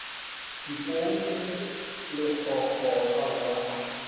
dipong le lekgokgo aowa a